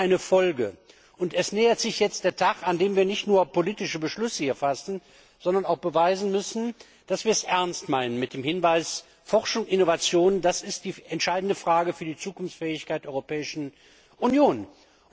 Das ist eine Folge, und es nähert sich jetzt der Tag, an dem wir hier nicht nur politische Beschlüsse fassen, sondern auch beweisen müssen, dass wir es ernst meinen mit dem Hinweis, dass Forschung und Innovation die entscheidende Frage für die Zukunftsfähigkeit der Europäischen Union ist.